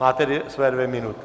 Máte své dvě minuty.